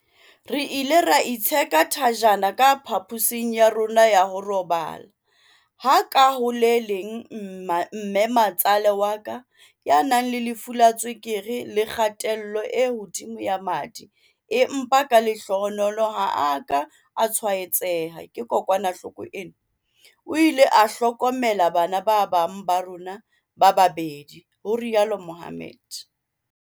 "Re ile ra itsheka thajana ka pha-posing ya rona ya ho robala, ha ka ho le leng mme ma-tsale wa ka, ya nang le lefu la tswekere le kgatello e hodimo ya madi empa ka lehlohonolo ha a ka a tshwaetseha ke kokwanahloko ena, o ile a hlokomela bana ba bang ba rona ba babedi," ho rialo Mohammed.